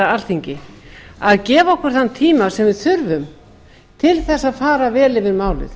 alþingi að gefa okkur þann tíma sem við þurfum til þess að fara vel yfir málið